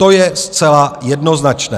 To je zcela jednoznačné.